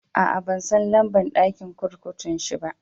Aa, ban san lamba'n dakin kurkukun shi ba.